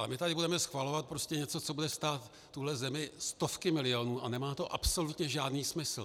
A my tady budeme schvalovat prostě něco, co bude stát tuhle zemi stovky milionů a nemá to absolutně žádný smysl.